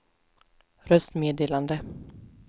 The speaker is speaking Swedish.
röstmeddelande